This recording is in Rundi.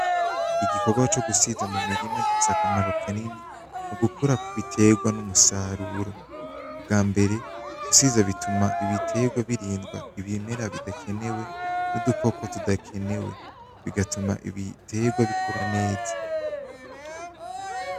Igikogwa co gusiza mumirima gifise akamaro kanini mugukura kwibitegwa numusaruro ubwambere gusiza bituma ibiterwa birindwa ibimera bidakenewe nudukoko tudakenewe bigatuma ibiterwa bikura neza